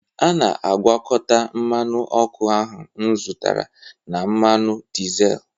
a na-agwakọta mmanụ ọkụ ahụ m zụtara na mmanụ dizel